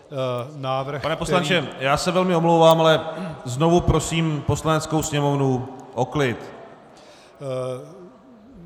Pane poslanče, já se velmi omlouvám, ale znovu prosím Poslaneckou sněmovnu o klid!